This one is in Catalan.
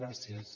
gràcies